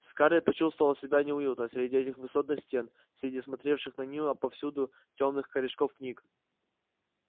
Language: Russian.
скарлетт почувствовала себя неуютно среди этих высотных стен среди смотревших на неё отовсюду тёмных корешков книг